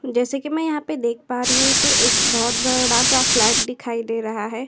जैसे कि मैं यहाँ पर देख पा रही हूं तो एक बहुत बड़ा सा फ्लैट दिखाई दे रहा है।